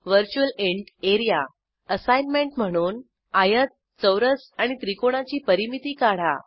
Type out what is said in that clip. virtual int A R E A assignment म्हणून आयत चौरस आणि त्रिकोणाची परिमिती काढा